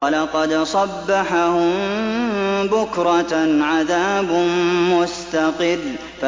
وَلَقَدْ صَبَّحَهُم بُكْرَةً عَذَابٌ مُّسْتَقِرٌّ